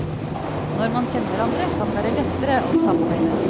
Når man kjenner hverandre, kan det være lettere å samarbeide.